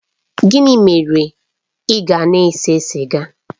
Gịnị mere ị gị na-ese sịga?